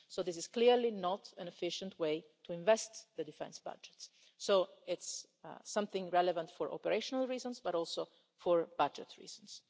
This is clearly not an efficient way to invest the defence budgets, so it's relevant for operational reasons and for budget reasons.